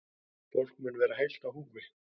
Fólkið mun vera heilt á húfi